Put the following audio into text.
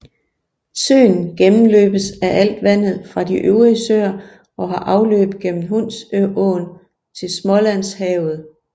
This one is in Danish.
Søen gennemløbes af alt vandet fra de øvrige søer og har afløb gennem Hunsåen til Smålandshavet